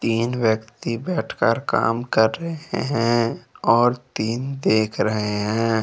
तीन व्यक्ति बैठकर काम कर रहे हैं और तीन देख रहे हैं।